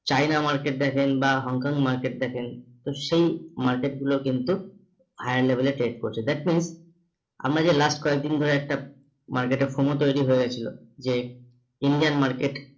China market দেখেন বা Hong Kong market দেখেন তো সেই market গুলো কিন্তু higher level এ trade করছে that means আমরা যে last কয়েকদিন ধরে একটা market এ তৈরী হয়ে গেছিলো যে Indian market